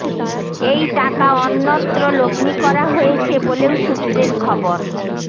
এই টাকা অন্যত্র লগ্নি করা হয়েছে বলেও সূত্রের খবর